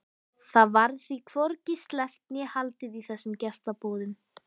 Það varð því hvorki sleppt né haldið í þessum gestaboðum.